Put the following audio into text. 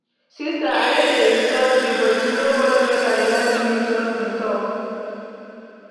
Sister I no dey insult you, but you no want make I land you just dey talk.